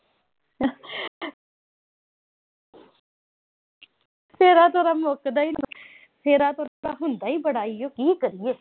ਤੋਰਾ-ਫੇਰਾ ਤਾਂ ਮੁੱਕਦਾ ਈ ਨੀਂ। ਤੋਰਾ ਫੇਰਾ ਤਾਂ ਹੁੰਦਾ ਈ ਬੜਾ ਆ। ਕੀ ਕਰੀਏ।